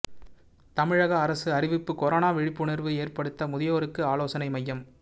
தமிழக அரசு அறிவிப்பு கொரோனா விழிப்புணர்வு ஏற்படுத்த முதியோருக்கு ஆலோசனை மையம்